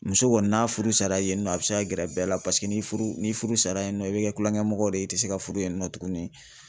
Muso kɔni n'a furu sara yen nɔ a bɛ se ka gɛrɛ bɛɛ la paseke ni furu ni furu sara yen nɔ i bɛ kɛ tulonkɛmɔgɔ de ye i tɛ se ka furu yen nɔ tugunni.